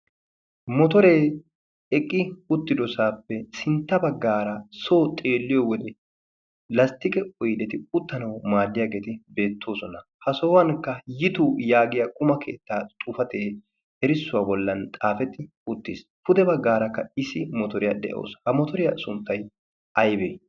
motoree eqqi uttidosaappe sintta baggaara soo xeelliyo wode lasttiqe oideti uttanawu maaddiyaageeti beettoosona. ha sohuwankka yitu yaagiya quma keettaa xufatee erissuwaa bollan xaafetti uttiis pude baggaarakka isi motoriyaa de'oos ha motoriyaa sunttai aybee?